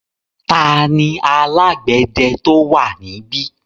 Tani alágbẹ̀dẹ tó wà níbí?